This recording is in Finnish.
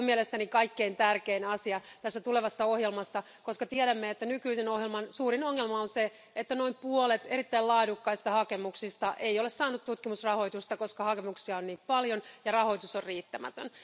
Se on mielestäni kaikkien tärkein asia tässä tulevassa ohjelmassa, koska tiedämme, että nykyisen ohjelman suurin ongelma on se, että noin puolet erittäin laadukkaista hakemuksista ei ole saanut tutkimusrahoitusta, koska hakemuksia on niin paljon ja rahoitus on riittämätön.